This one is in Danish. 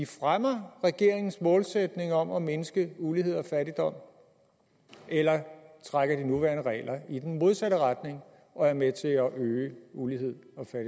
fremmer regeringens målsætning om at mindske ulighed og fattigdom eller trækker de nuværende regler i den modsatte retning og er med til at øge ulighed